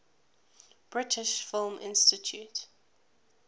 british film institute